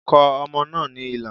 Kọ ọmọ náà ní ilà